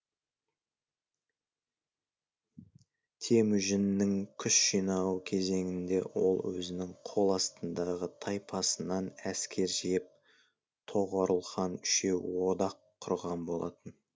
темүжіннің күш жинауы кезеңінде ол өзінің қол астындағы тайпасынан әскер жиып тоғорыл хан үшеуі одақ құрған болатын